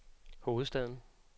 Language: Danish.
hovedstaden